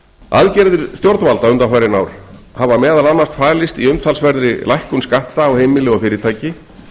aðgerðir stjórnvalda undanfarin ár hafa meðal annars falist í umtalsverðri lækkun skatta á heimili og fyrirtæki